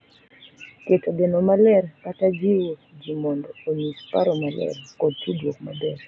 Keto geno maler, kata jiwo ji mondo onyis paro maler, kod tudruok maber